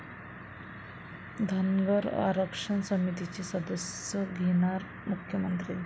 धनगर आरक्षण समितीचे सदस्य घेणार मुख्यमंत्र्यांची भेट